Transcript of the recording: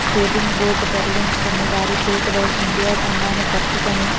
skating board తగిలించుకుని వారి చేతిలో ఇండియా జెండా పట్టుకుని --